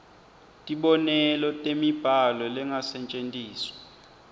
tibonelo temibhalo lengasetjentiswa